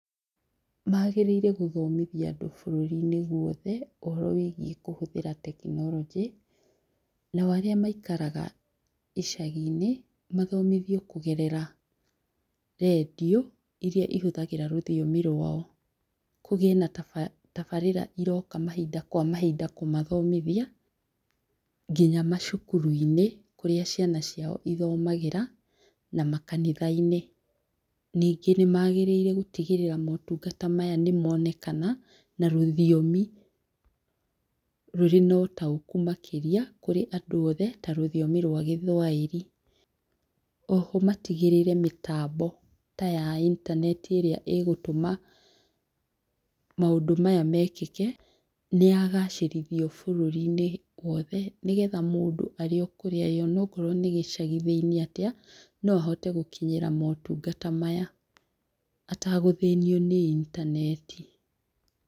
Magĩrĩire gũthomithia andũ bũrũri-inĩ gwothe, ũhoro wĩgie kũhũthĩra tekinoronjĩ nao arĩa maikaraga icagi-inĩ, mathomithio kũgerera radio iria ihũthagĩra rũthiomi rwao, kũgĩe na tabarĩra iroka mahinda kwa mahinda kũmathomithia nginya macukuru-inĩ kũrĩa ciana ciao ithomagĩra na makanitha-inĩ, ningĩ nĩmagĩrĩire gũtigĩrĩra motungata maya nĩ monekana nĩ na rũthiomi rũrĩ na ũtaũku makĩria kũrĩ andũ othe, ta rũthiomi rwa gĩthwaĩri, oho matigĩrĩre mĩtambo ta ya intaneti ĩrĩa ĩgũtũma maũndũ maya mekĩke nĩ ya gacĩrithio bũrũri-inĩ wothe nĩ getha mũndũ arĩ o kũrĩa arĩ ona korwo nĩ gĩcagi thĩinĩ atĩa no ahote gũkinyĩra motungata maya atagũthĩnio nĩ intaneti.